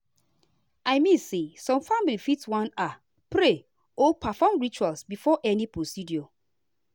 i mean say some families fit wan ah pray or perform ritual before any procedure.